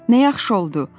Nə yaxşı oldu!